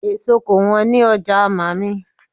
Èso kò wọ́n ní ọjà mààmí